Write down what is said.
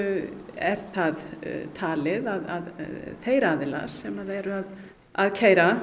er það talið að þeir aðilar sem eru að keyra